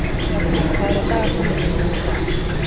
Sjafnar, hvað er á dagatalinu mínu í dag?